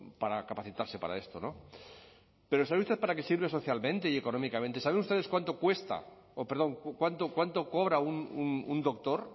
para capacitarse para esto no pero saben ustedes para qué sirve socialmente económicamente saben ustedes cuánto cobra un doctor